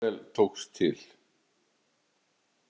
Mjög vel tókst til.